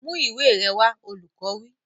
Mú ìwé rẹ wá! Olùkọ́ wí.